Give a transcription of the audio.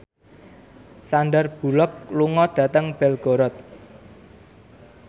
Sandar Bullock lunga dhateng Belgorod